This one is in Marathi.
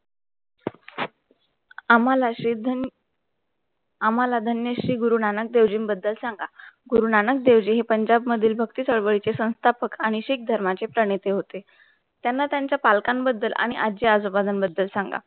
आम्हाला श्री धन आम्हाला धन्य श्री गुरुनानक देवजींबद्दल सांगा. गुरुनानक देव जी हे पंजाब मधील भक्ती चळवळी चे संस्थापक आणि शीख धर्माचे प्रणिती होते. त्यांना त्यांचा पालकांबद्दल आणि आजी आजोबा बद्दल सांगा